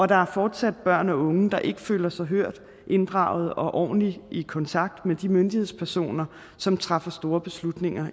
der er fortsat børn og unge der ikke føler sig hørt inddraget og ordentlig i kontakt med de myndighedspersoner som træffer store beslutninger